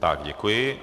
Tak děkuji.